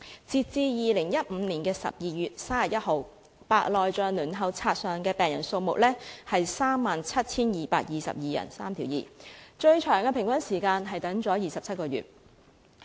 截至2015年12月31日，白內障輪候冊上的病人數目是 37,222 人，平均輪候時間最長為27個月。